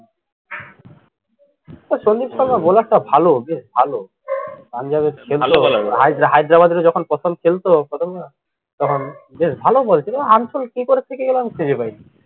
ও Sandeep sharmaballer টা ভালো, ভালো, ভালোভালো। hydra ~ Hyderabad এর হয়ে যখন প্রথম খেলতো তখন বেশ ভালো ball ছিল, এ unsold কিকরে থেকে গেলো আমি খুঁজে পাইনা